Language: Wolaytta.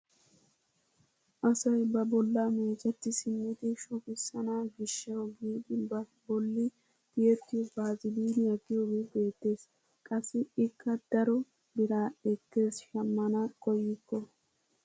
Asay ba bollaa meecetti simmidi shugissana gishshawu giidi ba bolli tiyettiyoo baaziliniyaa giyoogee beettees. qassi ikka daro biraa ekkees shammana koyikko.